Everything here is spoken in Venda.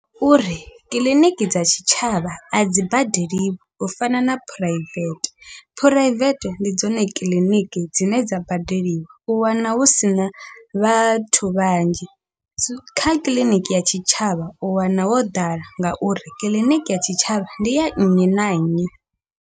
Uri kiḽiniki dza tshitshavha a dzi badeli u fana na phuraivethe, phuraivete ndi dzone kiḽiniki dzine dza badeliwa u wana hu sina vhathu vhanzhi, kha kiḽiniki ya tshitshavha u wana ho ḓala ngauri kiḽiniki ya tshitshavha ndi ya nnyi na nnyi.